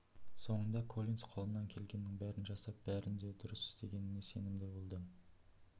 соңында коллинс қолынан келгеннің бәрін жасап бәрін де дұрыс істегеніне сенімді болды